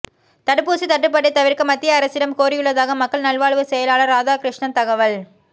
தடுப்பூசி தட்டுப்பாட்டை தவிர்க்க மத்திய அரசிடம் கோரியுள்ளதாக மக்கள் நல்வாழ்வு செயலாளர் ராதாகிருஷ்ணன் தகவல்